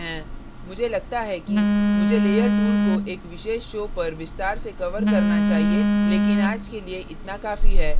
मुझे लगता है कि मुझे layers tool को एक विशेष show पर विस्तार से cover करना चाहिए लेकिन आज के लिए इतना काफी है